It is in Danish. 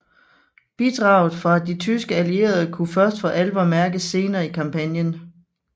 Bidraget fra de tyske allierede kunne først for alvor mærkes senere i kampagnen